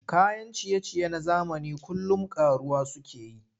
Kayan ciye-ciye na zamani kullum ƙaruwa suke yi.